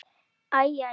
Æ. æ.